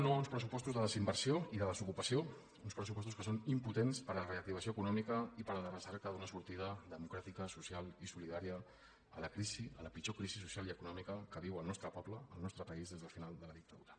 no a uns pressupostos de desinversió i de desocupació uns pressupostos que són impotents per a la reactivació econòmica i per a la recerca d’una sortida democràtica social i solidària a la crisi a la pitjor crisi social i econòmica que viu el nostre poble el nostre país des del final de la dictadura